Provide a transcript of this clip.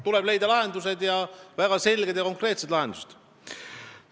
Tuleb leida lahendused, väga selged ja konkreetsed lahendused.